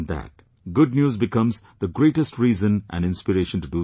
Good news becomes the greatest reason and inspiration to do something good